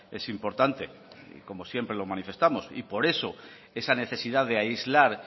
es importante como siempre lo manifestamos y por eso esa necesidad de aislar